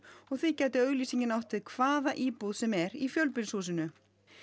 og því gæti auglýsingin átt við hvaða íbúð sem er í fjölbýlishúsinu